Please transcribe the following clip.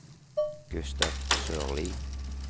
Gustav Sørlie